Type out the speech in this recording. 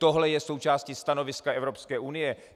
Tohle je součástí stanoviska Evropské unie.